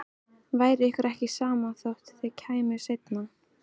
Væri ykkur ekki sama þótt þið kæmuð seinna?